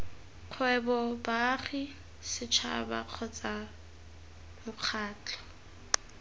kgwebo baagi setšhaba kgotsa mokgatlho